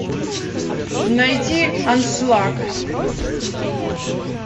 найти аншлаг